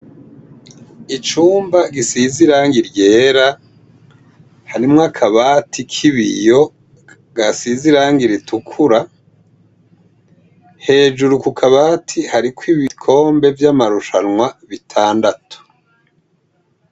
Icumba gisizirangi ryera harimwo akabati k'ibiyo gasizirangi ritukura hejuru ku kabati hari ko ibikombe vy'amarushanwa bitandatu.